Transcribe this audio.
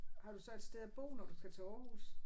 Har du så et sted at bo når du skal til Aarhus?